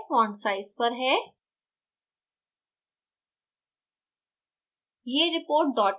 यह नियत कार्य font size पर है